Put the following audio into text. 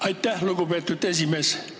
Aitäh, lugupeetud esimees!